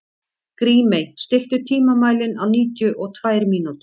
Grímey, stilltu tímamælinn á níutíu og tvær mínútur.